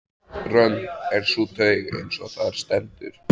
Römm er sú taug, eins og þar stendur